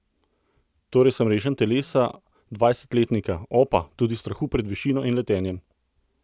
Torej sem rešen telesa dvajsetletnika, opa, tudi strahu pred višino in letenjem!